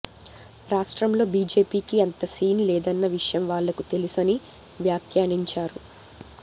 రాష్ట్రంలో బీజేపీకి అంత సీన్ లేదన్న విషయం వాళ్లకూ తెలుసని వ్యాఖ్యానించారు